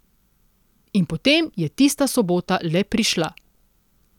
In potem je tista sobota le prišla.